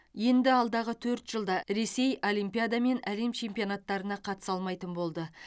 енді алдағы төрт жылда ресей олимпиада мен әлем чемпионаттарына қатыса алмайтын болды